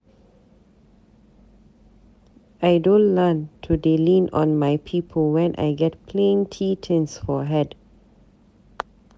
I don learn to dey lean on my people when I get plenty tins for head.